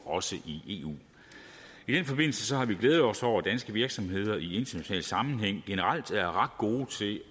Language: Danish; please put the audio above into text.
også i eu i den forbindelse har vi glædet os over at danske virksomheder i international sammenhæng generelt er ret gode til